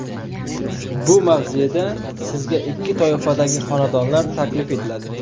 Bu mavzeda sizga ikki toifadagi xonadonlar taklif etiladi.